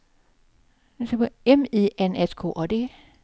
M I N S K A D